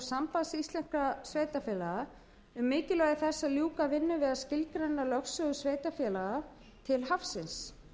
sambands íslenskra sveitarfélaga um mikilvægi þess að ljúka vinnu við að skilgreina lögsögu sveitarfélaga til hafsins